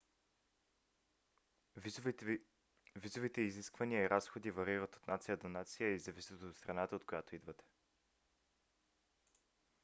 визовите изисквания и разходи варират от нация до нация и зависят от страната от която идвате